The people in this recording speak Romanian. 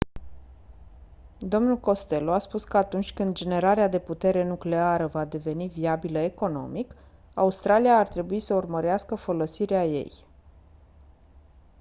dl costello a spus că atunci când generarea de putere nucleară va deveni viabilă economic australia ar trebui să urmărească folosirea ei